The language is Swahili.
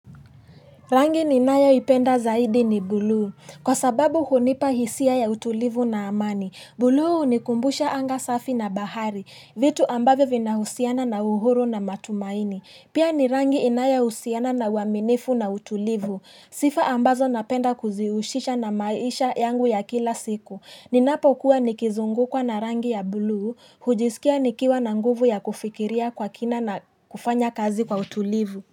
Rangi ninayoipenda zaidi ni bluu. Kwa sababu hunipa hisia ya utulivu na amani. Bluu hunikumbusha anga safi na bahari. Vitu ambavyo vinahusiana na uhuru na matumaini. Pia ni rangi inayohusiana na uaminifu na utulivu. Sifa ambazo napenda kuzihusisha na maisha yangu ya kila siku. Ninapokuwa nikizungukwa na rangi ya bluu. Hujisikia nikiwa na nguvu ya kufikiria kwa kina na kufanya kazi kwa utulivu.